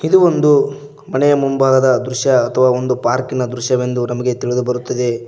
ಇದು ಒಂದು ಮನೆಯ ಮುಂಭಾಗದ ದೃಶ್ಯ ಅಥವಾ ಪಾರ್ಕಿನ ದೃಶ್ಯವೆಂದು ನಮಗೆ ತಿಳಿದು ಬರುತ್ತದೆ.